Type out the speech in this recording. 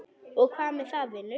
Og hvað með það, vinur?